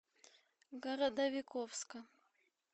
городовиковска